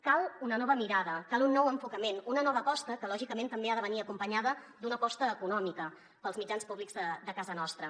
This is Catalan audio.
cal una nova mirada cal un nou enfocament una nova aposta que lògicament també ha de venir acompanyada d’una aposta econòmica per als mitjans públics de casa nostra